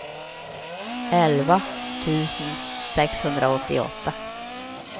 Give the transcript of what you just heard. elva tusen sexhundraåttioåtta